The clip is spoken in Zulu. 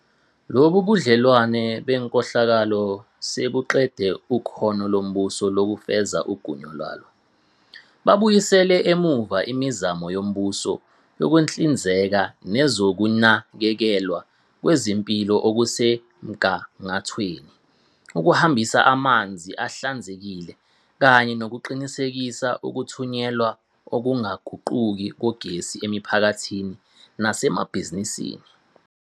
Lobu budlelwano benkohlakalo sebuqede ikhono lombuso lokufeza igunya lalo. Babuyisele emuva imizamo yombuso yokuhlinzeka ngezokunakekelwa kwezempilo okusemgangathweni, ukuhambisa amanzi ahlanzekile, kanye nokuqinisekisa ukuthunyelwa okungaguquki kogesi emiphakathini nasemabhizinisini.